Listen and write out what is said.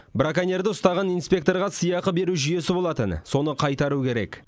браконьерді ұстаған инспекторға сыйақы беру жүйесі болатын соны қайтару керек